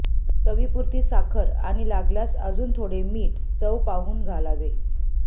चवीपुरती साखर आणि लागल्यास अजून थोडे मीठ चव पाहून घालावे